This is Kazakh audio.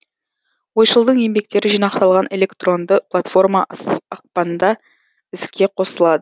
ойшылдың еңбектері жинақталған электронды платформа ақпанда іске қосылады